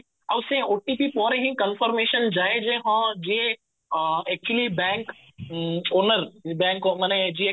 ଆଉ ସେ OTP ପରେ ହିଁ confirmation ଯାଏ ଯେ ହଁ ଯିଏ actually ବ୍ୟାଙ୍କ owner ବ୍ୟାଙ୍କ ଉଁ ଯିଏ